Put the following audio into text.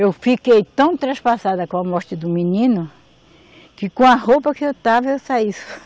Eu fiquei tão traspassada com a morte do menino, que com a roupa que eu estava, eu saí.